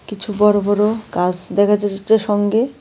কিছু বড় বড় গাস্ দেখা যাচ্ছে সঙ্গে।